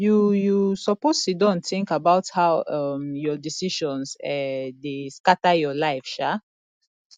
you you suppose siddon tink about how um your decisions um dey scatter your life um